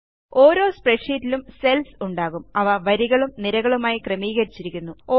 ഓരോ സ്പ്രെഡ്ഷീറ്റിലും സെല്ല്സ് ഉണ്ടാകും അവ വരികളും നിരകളുമായി ക്രമീകരിച്ചിരിക്കുന്നു